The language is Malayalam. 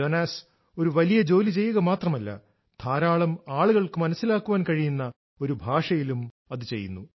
ജോനാസ് ഒരു വലിയ ജോലി ചെയ്യുക മാത്രമല്ല ധാരാളം ആളുകൾക്ക് മനസിലാക്കാൻ കഴിയുന്ന ഒരു ഭാഷയിലും അത് ചെയ്യുന്നു